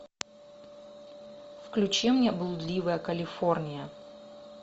включи мне блудливая калифорния